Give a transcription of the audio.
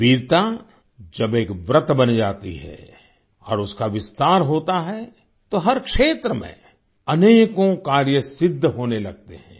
वीरता जब एक व्रत बन जाती है और उसका विस्तार होता है तो हर क्षेत्र में अनेकों कार्य सिद्ध होने लगते हैं